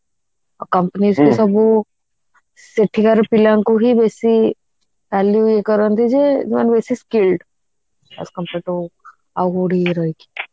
ଆଉ companies ସବୁ ସେଠିକାର ପିଲାଙ୍କୁ ହି ବେଶୀ କରନ୍ତି ଯେ ମାନେ ବେଶୀ skilled as compare to ଆଉ କୋଉଠି ରହିକି